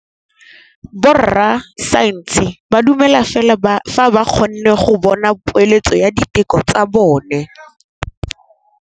Borra saense ba dumela fela fa ba kgonne go bona poeletsô ya diteko tsa bone.